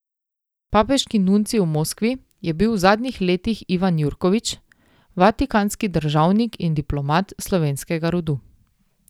Papeški nuncij v Moskvi je bil v zadnjih letih Ivan Jurkovič, vatikanski državnik in diplomat slovenskega rodu.